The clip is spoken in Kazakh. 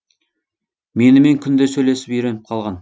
менімен күнде сөйлесіп үйреніп қалған